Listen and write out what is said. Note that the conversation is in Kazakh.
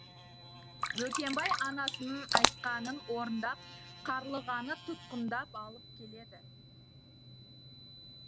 бөкенбай анасының айтқанын орындап қарлығаны тұтқындап алып келеді